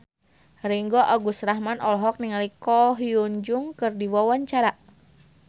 Ringgo Agus Rahman olohok ningali Ko Hyun Jung keur diwawancara